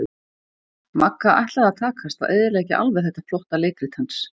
Magga ætlaði að takast að eyðileggja alveg þetta flotta leikrit hans.